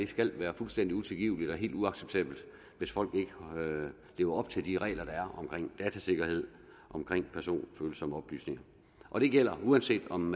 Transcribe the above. skal være fuldstændig utilgiveligt og helt uacceptabelt hvis folk ikke lever op til de regler der er omkring datasikkerhed omkring personfølsomme oplysninger og det gælder uanset om